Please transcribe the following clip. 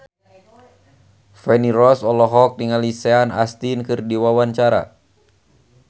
Feni Rose olohok ningali Sean Astin keur diwawancara